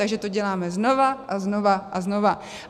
Takže to děláme znovu a znovu a znovu.